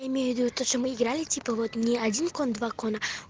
имею в виду что мы играли типа вот не один кон два кона